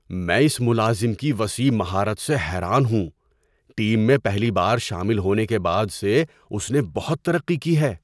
میں اس ملازم کی وسیع مہارت سے حیران ہوں – ٹیم میں پہلی بار شامل ہونے کے بعد سے اس نے بہت ترقی کی ہے۔